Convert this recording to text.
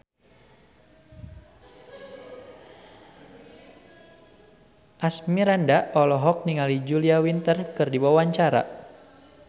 Asmirandah olohok ningali Julia Winter keur diwawancara